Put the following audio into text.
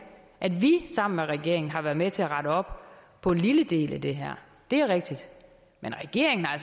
at vi sammen med regeringen har været med til at rette op på en lille del af det her det er rigtigt men regeringen har